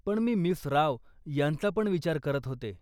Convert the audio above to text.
पण मी मिस राव यांचापण विचार करत होते.